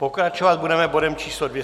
Pokračovat budeme bodem číslo